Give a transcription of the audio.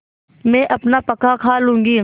मैं अपना पकाखा लूँगी